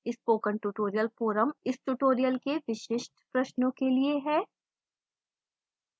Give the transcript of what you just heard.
spoken tutorial forum इस tutorial के विशिष्ट प्रश्नों के लिए है